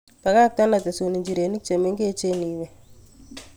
Bakak'ten otesun ijirenik chemegech iwe